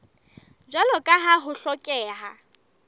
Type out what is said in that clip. jwalo ka ha ho hlokeha